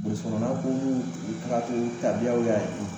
Burusukɔnɔmɔgɔ ko b'u u tagatogo tabiyaw y'a ye